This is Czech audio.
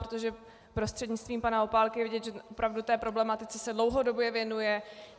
Protože prostřednictvím pana Opálky je vidět, že opravdu té problematice se dlouhodobě věnuje.